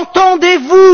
Entendez vous!